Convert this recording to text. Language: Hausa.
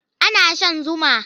Ana shan zuma.